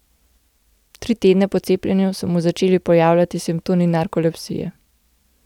Tri tedne po cepljenju so se mu začeli pojavljati simptomi narkolepsije.